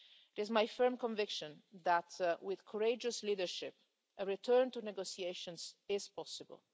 It is my firm conviction that, with courageous leadership, a return to negotiations is possible.